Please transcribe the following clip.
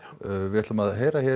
við ætlum að heyra